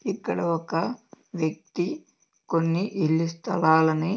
ఇక్కడ ఒక వ్యక్తి కొన్ని ఇల్లి స్తలాలని--